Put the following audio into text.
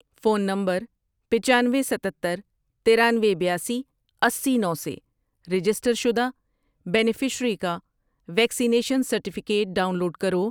Phone number پچانوے، ستتر، ترانوے، بیاسی، اسی، نو سے رجسٹر شدہ بینیفشیری کا ویکسینیشن سرٹیفکیٹ ڈاؤن لوڈ کرو۔